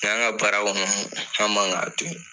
ka baara kɔnɔn